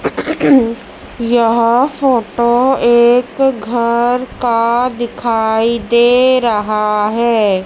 यह फोटो एक घर का दिखाई दे रहा है।